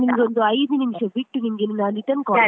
ನಾನು ನಿಮಗೊಂದು ಐದು ನಿಮಿಷ ಬಿಟ್ಟು ನಾನ್ return call .